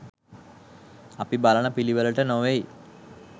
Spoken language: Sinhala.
අපි බලන පිළිවෙළට නොවෙයි.